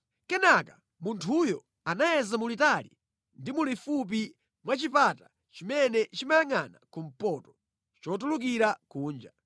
Kenaka munthuyo anayeza mulitali ndi mulifupi mwa chipata chimene chimayangʼana kumpoto, chotulukira kunja.